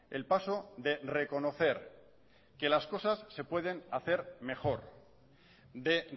el paso de reconocer que las cosas se pueden hacer mejor de